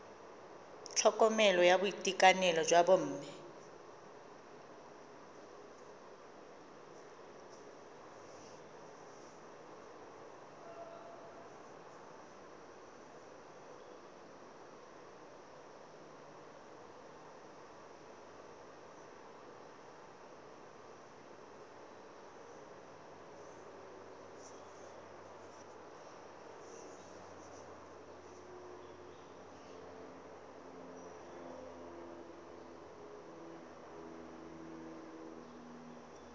tlhokomelo ya boitekanelo jwa bomme